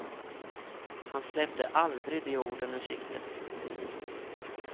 Han släppte aldrig de orden ur sikte.